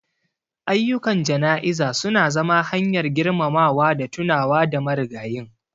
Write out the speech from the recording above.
Ayyukan jana'iza su na zama hanyar girmamawa da tunawa da marigayin.